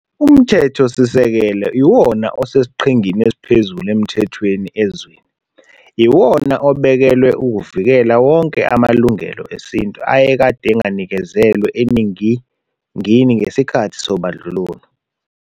UMthetho Sisekelo iwona osesiqhingini esiphezulu emthethweni ezweni, iwona obekelwe ukuvikela wonke amaLungelo eSintu ayekade enganikezelwe eningingini ngesikhathi sobandlululo.